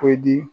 O di